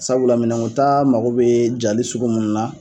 Sabu la minɛnkota mago bɛ ja cogo sugu minnu na.